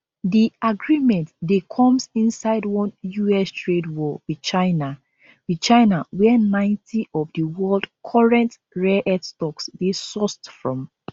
di agreement dey comes inside one us trade war with china with china wia90 of di world current rareearth stocks dey sourced from